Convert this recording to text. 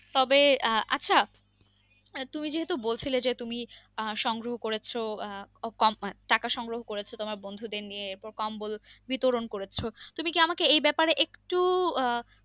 তবে আহ আচ্ছা তুমি যেহেতু বলছিলে যে তুমি আ সংগ্রহ করেছো আহ কম~ টাকা সংগ্রহ করেছো তোমার বন্ধুদের নিয়ে এরপর কম্বল বিতরণ করেছো তুমি কি আমাকে এই ব্যাপারে একটু আহ